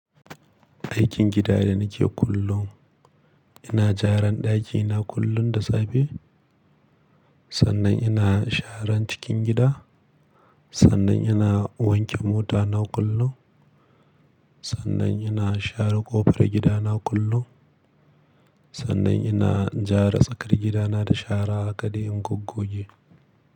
Aikin gida da nake kullum, ina jaran ɗakina kullum da safe, sannan ina sharan cikin gida, sannan ina wanke motana kullum, sannan ina share kofar gidana kullum, sannan ina jara tsakar gidana da shara hakade in goggo ge.